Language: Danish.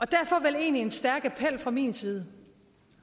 derfor vel egentlig en stærk appel fra min side